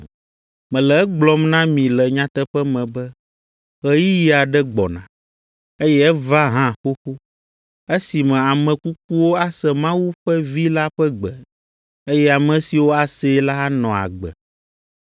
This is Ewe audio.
Mele egblɔm na mi le nyateƒe me be ɣeyiɣi aɖe gbɔna, eye eva hã xoxo, esime ame kukuwo ase Mawu ƒe Vi la ƒe gbe, eye ame siwo asee la anɔ agbe.